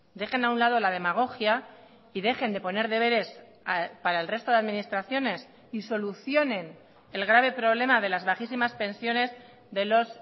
dejen a un lado la demagogia y dejen de poner deberes para el resto de administraciones y solucionen el grave problema de las bajísimas pensiones de los